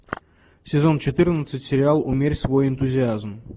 сезон четырнадцать сериал умерь свой энтузиазм